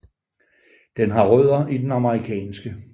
Den har rødder i den amerikanske